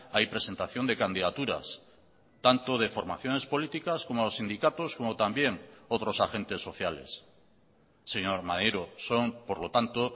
hay presentación de candidaturas tanto de formaciones políticas como sindicatos como también otros agentes sociales señor maneiro son por lo tanto